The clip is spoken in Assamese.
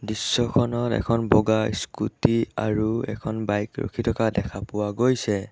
দৃশ্যখনত এখন বগা স্কুটী আৰু এখন বাইক ৰখি থকা দেখা পোৱা গৈছে।